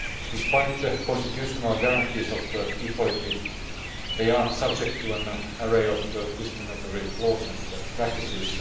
Despite constitutional guarantees of equality, they are subject to an array of discriminatory laws and practices.